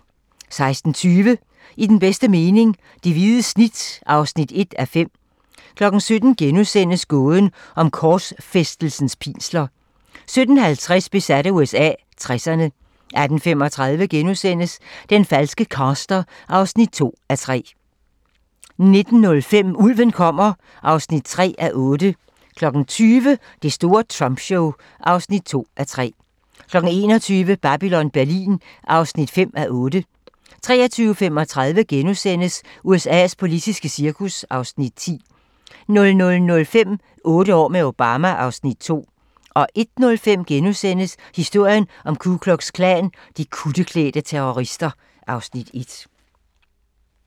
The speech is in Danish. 16:20: I den bedste mening - det hvide snit (1:5) 17:00: Gåden om korsfæstelsens pinsler * 17:50: Besat af USA - 60'erne 18:35: Den falske caster (2:3)* 19:05: Ulven kommer (3:8) 20:00: Det store Trump show (2:3) 21:00: Babylon Berlin (5:8) 23:35: USA's politiske cirkus (Afs. 10)* 00:05: Otte år med Obama (Afs. 2) 01:05: Historien om Ku Klux Klan: De kutteklædte terrorister (Afs. 1)*